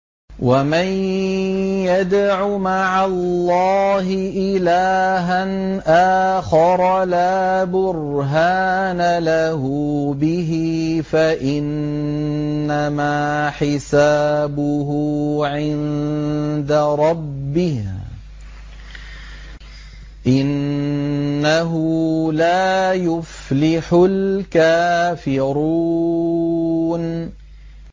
وَمَن يَدْعُ مَعَ اللَّهِ إِلَٰهًا آخَرَ لَا بُرْهَانَ لَهُ بِهِ فَإِنَّمَا حِسَابُهُ عِندَ رَبِّهِ ۚ إِنَّهُ لَا يُفْلِحُ الْكَافِرُونَ